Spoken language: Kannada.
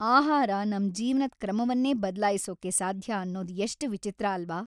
ಆಹಾರ ನಮ್‌ ಜೀವನದ್‌ ಕ್ರಮವನ್ನೇ ಬದ್ಲಾಯಿಸೊಕ್ಕೆ ಸಾಧ್ಯ ಅನ್ನೊದ್‌ ಎಷ್ಟ್‌ ವಿಚಿತ್ರ ಅಲ್ವಾ.